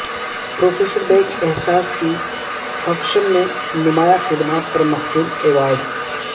professor Baig Ehsas کی fiction میں نمایاں خدمات پر مخدوم ایوارڈ